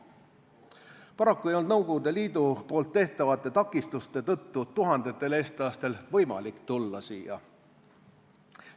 Paraku ei olnud Nõukogude Liidu tehtavate takistuste tõttu tuhandetel eestlastel võimalik siia tulla.